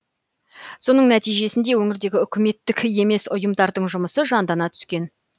соның нәтижесінде өңірдегі үкіметтік емес ұйымдардың жұмысы жандана түскен